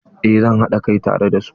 Eh zan haɗa kai tare da su.